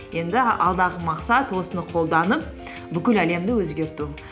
енді алдағы мақсат осыны қолданып бүкіл әлемді өзгерту